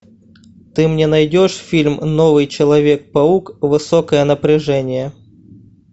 ты мне найдешь фильм новый человек паук высокое напряжение